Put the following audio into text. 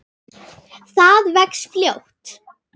Það vex fljótt.